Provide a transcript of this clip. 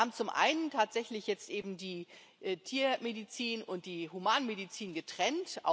Wir haben zum einen tatsächlich jetzt eben die Tiermedizin und die Humanmedizin getrennt.